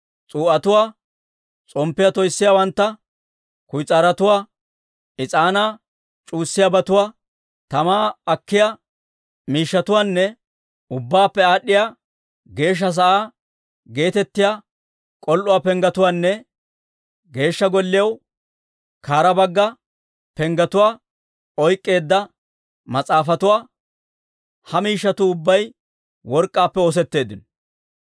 S'uu'atuwaa, s'omppiyaa toyssiyaawantta, kuyis'aarotuwaa, is'aanaa c'uwayiyaabatuwaa, tamaa akkiyaa miishshatuwaanne, Ubbaappe Aad'd'iyaa Geeshsha sa'aa geetettiyaa k'ol"uwaa penggetuwaanne, Geeshsha Golliyaw kare bagga penggetuwaa oyk'k'eedda mas'aafatuwaa. Ha miishshatuu ubbay work'k'aappe oosetteeddino.